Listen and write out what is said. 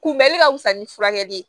Kunbɛnni ka wusa ni furakɛli ye